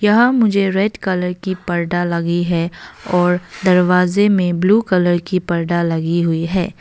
यहां मुझे red colour की पर्दा लगी है और दरवाजे में ब्लू कलर की पर्दा लगी हुई है।